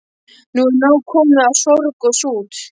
Nú er nóg komið af sorg og sút.